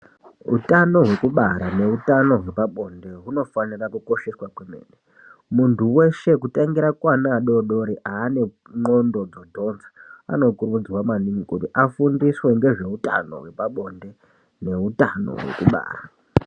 Utano hwekubara neutano hwepabonde hunofanira kukosheswa kwemene, muntu weshe kutangira kuana adodori ane ndxondo dzodhonza anokurudzirwa maningi kuti afundiswe ngezveutano hwepabonde neutano hwekubara.